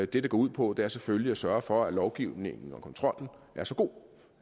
det går ud på er selvfølgelig at sørge for at lovgivningen og kontrollen er så god